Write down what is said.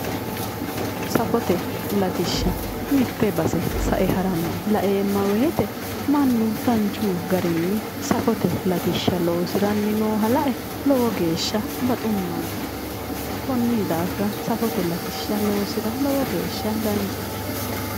Safote latishsha. mitte base sae haranni laeemma woyiite mannu danchu garinni safote latishsha loosiranni nooha lae lowo geeshsha baxummansa. kunni daafira safote latishsha loosira lowo geeshsha danchate.